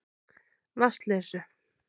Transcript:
Vatnsleysu